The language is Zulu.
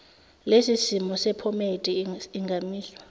lesimiso sephomedi ingamiswa